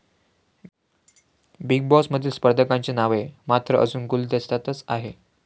Big बॉसमधील स्पर्धकांची नावे मात्र अजून गुलदस्त्यातच आहेत.